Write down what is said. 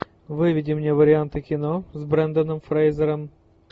выведи мне варианты кино с бренданом фрейзером